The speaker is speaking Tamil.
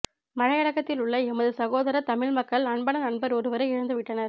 மலையகத்திலுள்ள எமது சகோதர தமிழ் மக்கள் அன்பான நண்பர் ஒருவரை இழந்து விட்டனர்